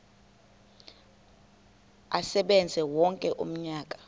asebenze wonke umnyaka